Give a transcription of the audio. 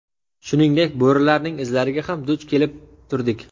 Shuningdek, bo‘rilarning izlariga ham duch kelib turdik.